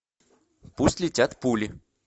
пусть летят пули